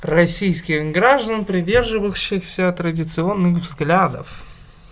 российских граждан придерживающийся традиционных взглядов